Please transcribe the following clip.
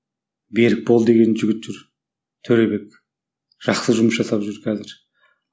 берікбол деген жігіт жүр төребек жақсы жұмыс жасап жүр қазір